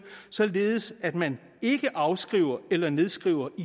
således at man ikke afskriver eller nedskriver